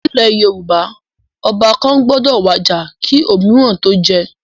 Nílẹ̀ Yorùbá, Ọba kàn gbọ́dọ̀ wàjà kí òmííràn tó jẹ́